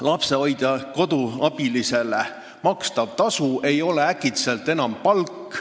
Lapsehoidjale-koduabilisele makstav tasu ei ole äkitselt enam palk.